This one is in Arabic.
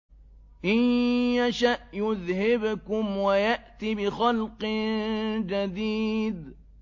إِن يَشَأْ يُذْهِبْكُمْ وَيَأْتِ بِخَلْقٍ جَدِيدٍ